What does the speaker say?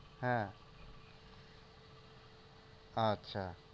হ্যাঁ আচ্ছা